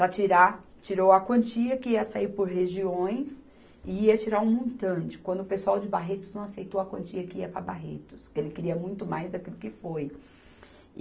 para tirar, tirou a quantia que ia sair por regiões e ia tirar um montante, quando o pessoal de Barretos não aceitou a quantia que ia para Barretos, que ele queria muito mais daquilo que foi.